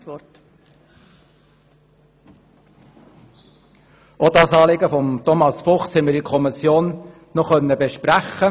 der SiK. Wir haben auch das Anliegen von Thomas Fuchs in der Kommission besprochen.